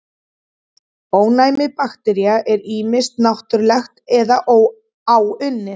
Ónæmi baktería er ýmist náttúrlegt eða áunnið.